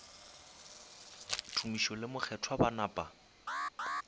tumiši le mokgethwa ba napa